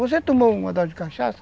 Você tomou uma dose de cachaça,